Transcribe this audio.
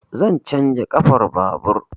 Zan canja ƙafan babur.